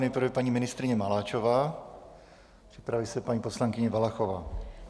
Nejprve paní ministryně Maláčová, připraví se paní poslankyně Valachová.